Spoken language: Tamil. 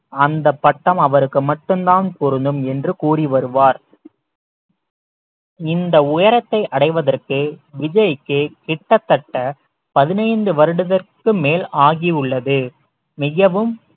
அந்தப் பட்டம் அவருக்கு மட்டும்தான் பொருந்தும் என்று கூறி வருவார் இந்த உயரத்தை அடைவதற்கு விஜய்க்கு கிட்டத்தட்ட பதினைந்து வருடத்திற்கு மேல் ஆகியுள்ளது மிகவும்